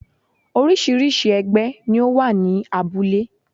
Orísìírísìí ẹgbẹ́ ni ó wà ní abúlé